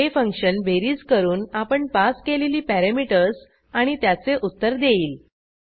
हे फंक्शन बेरीज करून आपण पास केलेली पॅरॅमीटर्स आणि त्याचे उत्तर देईल